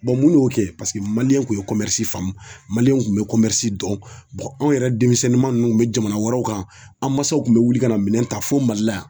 mun y'o kɛ maliyɛnw kun ye faamu Mali kun be dɔn anw yɛrɛ denmisɛnman ninnu kun be jamana wɛrɛw kan an mansaw kun be wuli ka na minɛn ta fo mali la yan